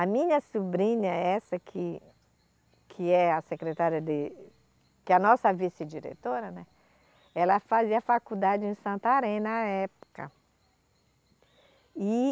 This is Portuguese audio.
A minha sobrinha, essa que, que é a secretária de, que é a nossa vice-diretora, né, ela fazia faculdade em Santarém na época e